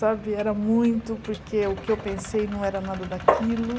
Sabe, era muito, porque o que eu pensei não era nada daquilo.